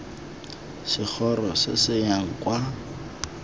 segoro se se yang kwa